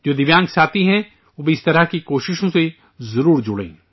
جو دویانگ ساتھی ہیں، وہ بھی اس قسم کی کوششوں سے ضرور جڑیں